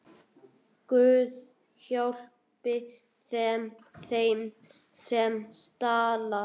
Guð, hjálpi þeim, sem stal!